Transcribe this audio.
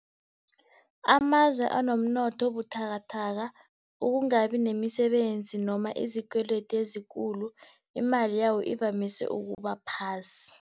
Amazwe anomnotho obuthakathaka, ukungabi nemisebenzi noma izikwedi ezikulu, imali yawo ivamise ukuba phasi.